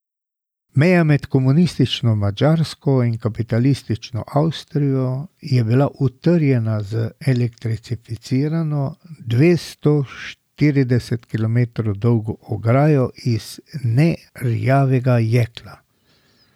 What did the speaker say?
Meja med komunistično Madžarsko in kapitalistično Avstrijo je bila utrjena z elektrificirano, dvesto štirideset kilometrov dolgo ograjo iz nerjavnega jekla.